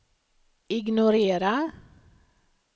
ignorera